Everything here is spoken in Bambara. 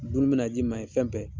Dun bɛna d'i ma ye, fɛn bɛ.